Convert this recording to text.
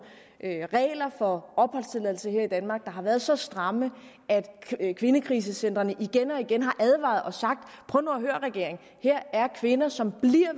regler for opholdstilladelse her i danmark der har været så stramme at kvindekrisecentrene igen og igen har advaret og sagt prøv nu at høre regering her er kvinder som bliver